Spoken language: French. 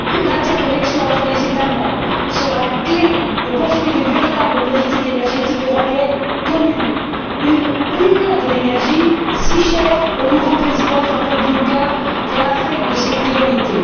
L'interconnexion entre les États membres sera la clé pour construire une véritable politique énergétique européenne commune, une Union de l'énergie, si chère au nouveau président Jean Claude Juncker, qui en a fait une de ses priorités.